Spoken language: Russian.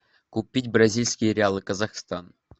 купить бразильские реалы казахстан